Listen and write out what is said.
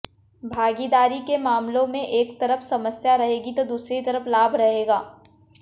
भागीदारी के मामलों में एक तरफ समस्या रहेगी तो दूसरी तरफ लाभ रहेगा